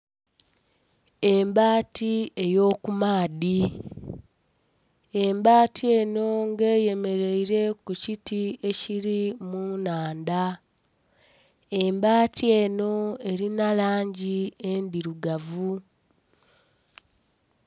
Embaati eyo kumaadhi, embaati eno nga eyemereire kukiti ekiri mu nnhandha. Embaati eno erina langi endhirugavu.